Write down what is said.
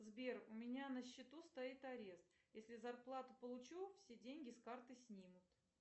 сбер у меня на счету стоит арест если зарплату получу все деньги с карты снимут